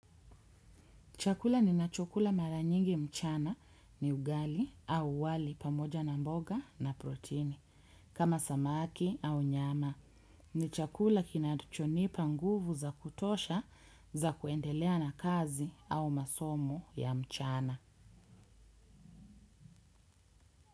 Chakula ninachokula maranyingi mchana ni ugali au wali pamoja na mboga na protini kama samaki au nyama. Ni chakula kinachonipa nguvu za kutosha za kuendelea na kazi au masomo ya mchana.